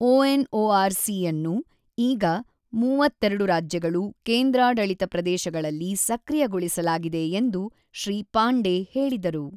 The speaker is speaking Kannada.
ಒಎನ್ಒಆರ್ ಸಿಯನ್ನು ಈಗ ೩೨ ರಾಜ್ಯಗಳು ಕೇಂದ್ರಾಡಳಿತ ಪ್ರದೇಶಗಳಲ್ಲಿ ಸಕ್ರಿಯಗೊಳಿಸಲಾಗಿದೆ ಎಂದು ಶ್ರೀ ಪಾಂಡೆ ಹೇಳಿದರು.